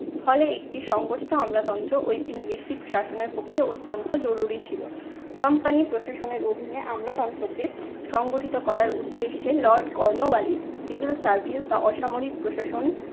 ফলে একটি সংগঠিত আমলাতন্ত্র ঔপিনিবেশিক শাসনের পক্ষে অত্যান্ত জরুরি ছিল। company প্রশাসনের অধীনে আমলাতন্ত্রকে সংগঠিত করার উদ্দেশ্যে lord কর্নোওয়ালিস civil service অসামরিক প্রশাসন